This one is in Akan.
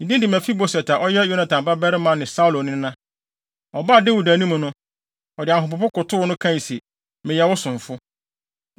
Ne din de Mefiboset, a ɔyɛ Yonatan babarima ne Saulo nena. Ɔbaa Dawid anim no, ɔde ahopopo kotow no, kae se, “Meyɛ wo somfo.”